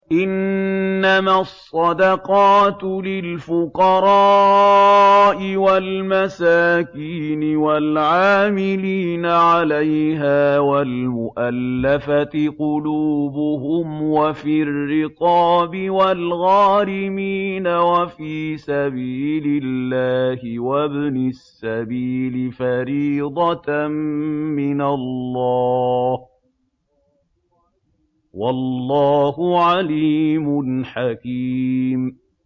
۞ إِنَّمَا الصَّدَقَاتُ لِلْفُقَرَاءِ وَالْمَسَاكِينِ وَالْعَامِلِينَ عَلَيْهَا وَالْمُؤَلَّفَةِ قُلُوبُهُمْ وَفِي الرِّقَابِ وَالْغَارِمِينَ وَفِي سَبِيلِ اللَّهِ وَابْنِ السَّبِيلِ ۖ فَرِيضَةً مِّنَ اللَّهِ ۗ وَاللَّهُ عَلِيمٌ حَكِيمٌ